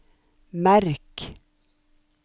merk